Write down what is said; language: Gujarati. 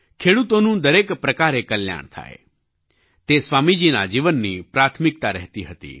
ખેડૂતોનું દરેક પ્રકારે કલ્યાણ થાય તે સ્વામીજીના જીવનની પ્રાથમિકતા રહેતી હતી